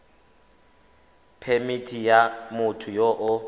phemithi ya motho yo o